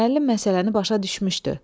Müəllim məsələni başa düşmüşdü.